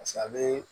paseke a bee